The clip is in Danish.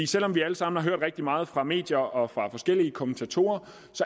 selv om vi alle sammen har hørt rigtig meget fra medier og fra forskellige kommentatorer